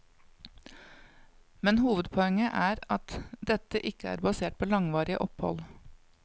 Men hovedpoenget er at dette ikke er basert på langvarige opphold.